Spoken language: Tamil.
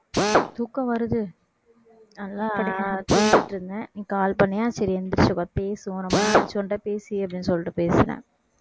தூக்கம் வருது நல்லா தூங்கிட்டு இருந்தேன் நீ call பண்ணியா சரி எந்திரிச்சு வா பேசுவோம் ரொம்ப நாளாச்சு உன்கிட்ட பேசி அப்படின்னு சொல்லிட்டு பேசினேன்